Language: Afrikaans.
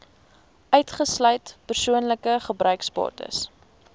uitgesluit persoonlike gebruiksbates